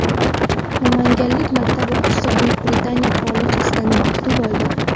Namanganlik maktab o‘quvchisi Buyuk Britaniya qirolichasidan maktub oldi.